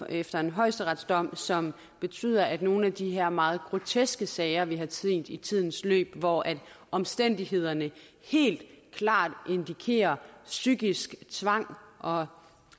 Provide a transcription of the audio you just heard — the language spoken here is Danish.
efter en højesteretsdom som betyder at nogle af de her meget groteske sager vi har set i tidens løb hvor omstændighederne helt klart indikerer psykisk tvang og